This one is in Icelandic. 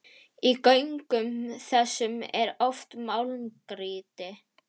Í göngum þessum er oft málmgrýti.